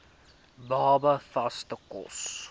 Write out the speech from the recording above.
baba vaste kos